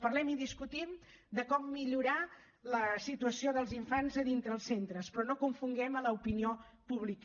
parlem i discutim de com millorar la situació dels infants a dintre els centres però no confonguem l’opinió pública